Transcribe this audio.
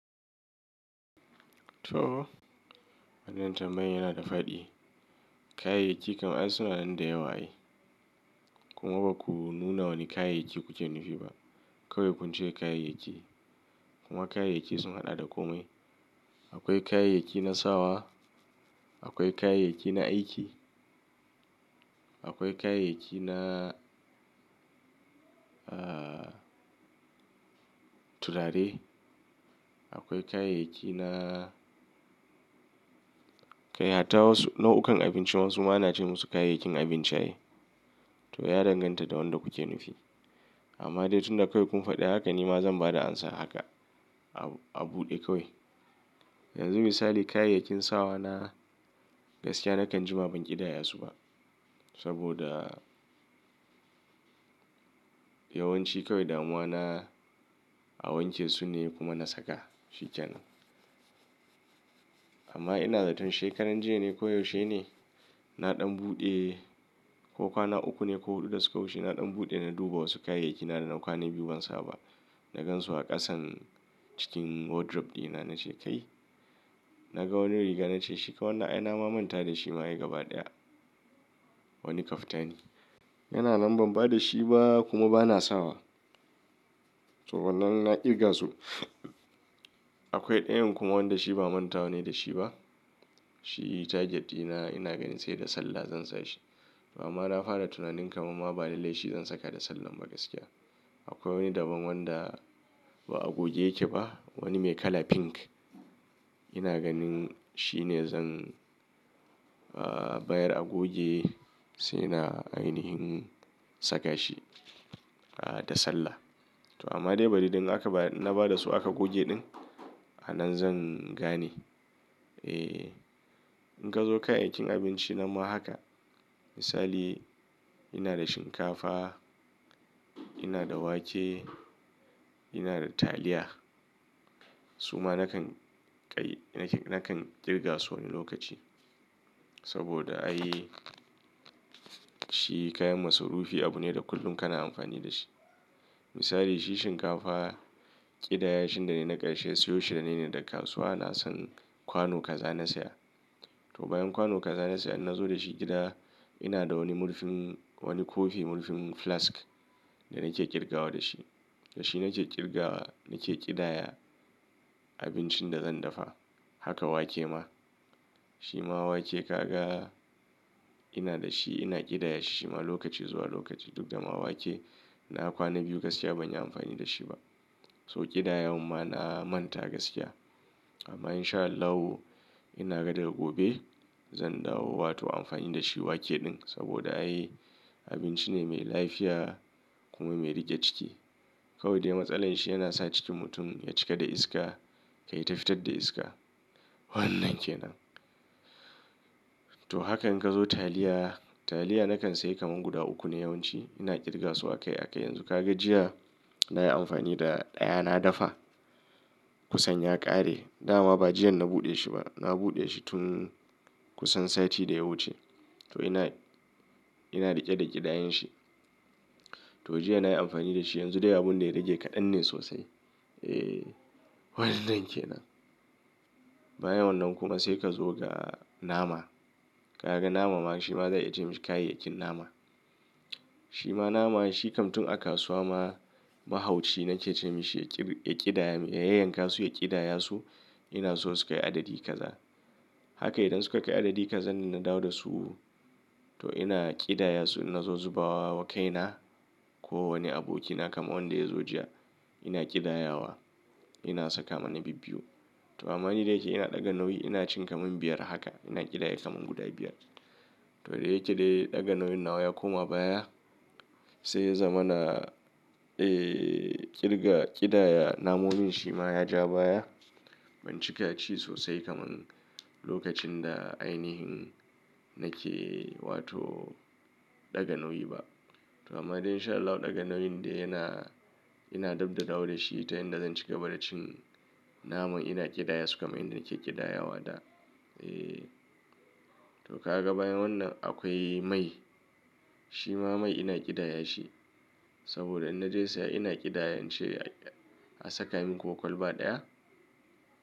To, wannan tambayan yana da faɗi. Kayayyaki kam ai suna nan da yawa ai. Kuma ba ku nuna wane kayayyaki kuke nufi ba. Kawai kun ce kayayyaki. Kuma kayayyaki suna ɗada ƙomi. Akwai kayayyakin na sawa, akwai kayayyakin na aiki, akwai kayayyaki na turare, akwai kayayyaki na kai hata, nau'ukan abinci wasu ma ana ce musu kayayyakin abinci ai. To, ya danganta da wanda kuke nufi. Amma dai tunda kawai kun faɗi haka ni ma zan ba da amsa haka. A buɗe kawai. Yanzu misali kayayyakin sawa na gaskiya nakan jima ban ƙidaya su ba. Saboda yawanci kawai damuwa na a wanke su ne kuma na saka shi kenan. Amma ina zaton shekaran jiya ne ko yaushe ne, na ɗan buɗe ko kwana uku ne ko huɗu da suka wuce na ɗan buɗe na duba wasu kayayyakina da na yi kwana biyu ban saba na gan su a ƙasan cikin wardrobe dina na ce kai. Na ga wani riga na ce shi kawai na ai na ma manta da shi ma ai gaba ɗaya. Wani kaftani. Yana nan ban ba da shi ba kuma ba na sawa. To wannan na ƙirga su. Akwai ɗayan kuma wanda shi ba manta nake da shi ba. Shi target dina ina ganin sai da sallah zan sa shi. Amma na fara tunanin kamar ma bani da laifi zan saka da sallar ba gaskiya. Akwai wani daban wanda ba a goge yake ba. Wani mai kala pink. Ina ganin shine zan bayar a goge sai na ainihin saka shi da sallah. To amma dai bari idan na ba da su aka goge ɗin a nan zan gane. Eh. In ka zo kayayyakin abinci na ma haka. Misali ina da shinkafa, ina da wake, ina da taliya. Su ma nakan ƙirga su wani lokaci. Saboda ai shi kayan masrufi abu ne da kullum kana amfani da shi. Misali shi shinkafa ƙidayashin da na naƙashe siyo shine ne da kasuwa na san kwano kaza na saya. To bayan kwano kaza na saya idan na zo da shi gida ina da wani murfin wani kofi murfin flask da nake ƙirgawa da shi. Da shi nake ƙirgawa nake ƙidaya abincin da zan dafa. Haka wake ma. Shi ma wake ka ga ina da shi ina ƙidaya shi shima lokaci zuwa lokaci duk da ma wake na kwana biyu gaskiya ban yi amfani da shi ba. To ƙidayen ma na manta gaskiya. Amma in sha Allahu ina ga daga gobe zan dawo wato amfani da shi wake ɗin saboda ai abinci ne mai lafiya kuma mai riƙe ciki. Kawai dai matsalar shi yana sa cikin mutum ya cika da iska kai ta fitar da iska. Wannan ke nan. To haka in ka zo taliya, taliya nakan sayi kamar guda uku ne yawanci. Ina ƙirga su aka yi aka yi. Yanzu ka ga jiya na yi amfani da ɗaya na dafa. Kusan ya ƙare. Da ma ba jiya na buɗe shi ba. Na buɗe shi tun kusan sati da ya wuce. To ina, ina riƙe da ƙidayan shi. To jiya na yi amfani da shi yanzu dai abun da ya rage kaɗan ne sosai. Eh, wannan kenan. Bayan wannan kuma sai ka zo ga nama. Ka ga nama ma shi ma za a yi ce masa kayayyakin nama. Shi ma nama shi kam tun a kasuwa ma mahauci nake ce masa ya ƙidaya, ya yanka su ya ƙidaya su ina so su kai adadi kaza. Haka idan suka kai adadi kaza na dawo da su. To ina ƙidaya su ina zo zubawa kaina ko wani abokina kamar wanda ya zo jiya. Ina ƙidayawa. Ina saka mana bibbiyu. To amma ni dai yake ina ɗaga nauyi ina cin kamar biyar haka. Ina ƙidaya kamar guda biyar. To dai yake dai ɗaga nauyin nawa ya koma baya. Sai ya zama na, eh, ƙirga ƙidaya namomin shi ma ya ja baya. Ban cika ci sosai kamar lokacin da ainihin nake wato ɗaga nauyi ba. To amma dai in sha Allahu ɗaga nauyin da yana ina dab da dawo da shi ta yanda zan cika bada cin naman ina ƙidaya su kamar yadda nake ƙidaya wa da. Eh. To ka ga bayan wannan akwai mai. Shi ma mai ina ƙidaya shi. Saboda idan na je saya ina ƙidaya in ce a saka min ko kwalba ɗaya.